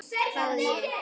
hváði ég.